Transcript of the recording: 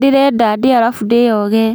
Ndĩrenda ndĩe arafu ndĩoge